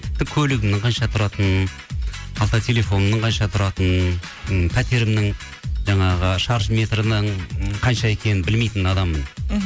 тіпті көлігімнің қанша тұратынын қалта телефонымның қанша тұратынын м пәтерімнің жаңағы шаршы метрінің м қанша екенін білмейтін адаммын мхм